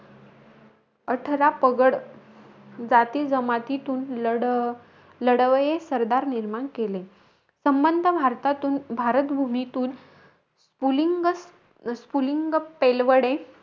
अठरा पगड जाती जमातीतून लढ लढवय्ये सरदार निर्माण केले. संबंध भारतातून भारत भूमीतून स्पुलिंग स्पुलिंग पेलवडे,